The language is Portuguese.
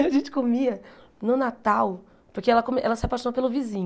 A gente comia no Natal, porque ela co ela se apaixonou pelo vizinho.